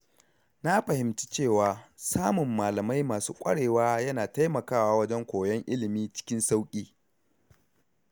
Na fahimci cewa samun malamai masu ƙwarewa yana taimakawa wajen koyon ilimi cikin sauƙi.